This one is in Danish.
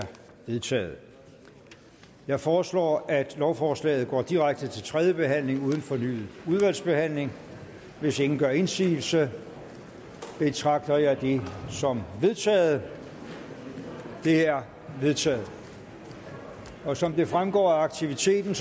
vedtaget jeg foreslår at lovforslaget går direkte til tredje behandling uden fornyet udvalgsbehandling hvis ingen gør indsigelse betragter jeg det som vedtaget det er vedtaget som det fremgår af aktiviteten